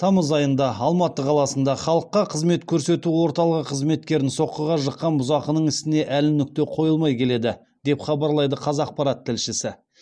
тамыз айында алматы қаласында халыққа қызмет көрсету орталығы қызметкерін соққыға жыққан бұзақының ісіне әлі нүкте қойылмай келеді деп хабарлайды қазақпарат тілшісі